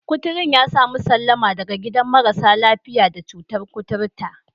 kuturun ya sami sallama daga gidan marasa lafiya da cutar koturta.